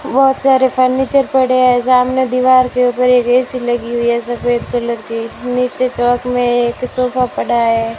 बहोत सारे फर्नीचर पड़े हैं सामने दीवार के उधर एक ए_सी लगी हुई है सफेद कलर की नीचे चौक में सोफा पड़ा है।